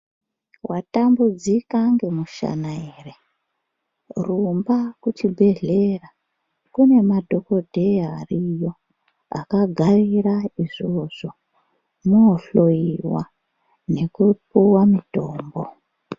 Watambudzika ngemushana ere rumba kuchibhedhlera kune madhokodheya ariyo akagarira izvozvo unohloyiwa nekupuwa mutombo.